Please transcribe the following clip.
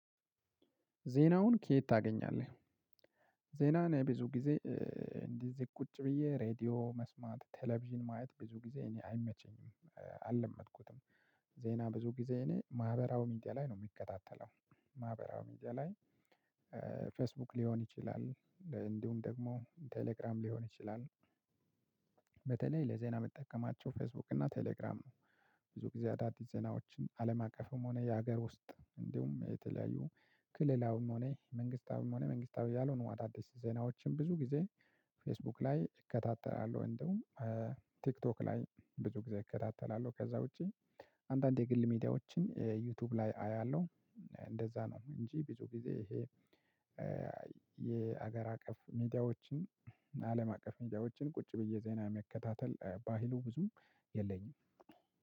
ዜናውን ከየት ታገኛለህ? ዜናን ብዙ ጊዜ እንደዚህ ቁጭ ብዬ ሬድዮ መስማት ቴሌቪዥን ማየት ብዙ ጊዜ እኔ አይመቸኝም አለመድኩትም። ዜና ብዙ ጊዜ እኔ ማህበራዊ ሚዲያ ላይ ነው የምከታተለው። ማህበራዊ ሚዲያ ላይ። ፌስቡክ ሊሆን ይችላል። እንዲሁም ደግሞ ቴሌግራም ሊሆን ይችላል። በተለይ ለዜና የምጠቀማቸው ፌስቡክ እና ቴሌግራም ነው። ብዙ ጊዜ አዳዲስ ዜናዎችን አለም አቀፍም ሆነ የሀገር ውስጥ እንዲሁም የተለያዩ ክልላዊም ሆነ መንግስታዊም ሆነ መንግስታዊ ያልሆኑ አዳዲስ ዜናዎችን ብዙ ጊዜ ፌስቡክ ላይ እከታተላለሁ። እንዲሁም ቲክቶክ ላይ ብዙ ጊዜ እከታተላለሁ ከዛ ውጪ አንዳንድ የግል ሚዲያዎችን ዩቲዩብ ላይ አያለሁ። እንደዛ ነው እንጂ ብዙ ጊዜ ይሄ የሀገር አቀፍ ሚዲያዎችን አለም አቀፍ ሚዲያዎችን ቁጭ ብዬ ዜና መከታተል ባህሉ ብዙም የለኝም።